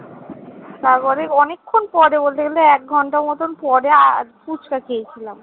তারপরে অনেক্ষন পরে বলতে গেলে এক ঘন্টা মতন পরে আর ফুচকা খেয়েছিলাম।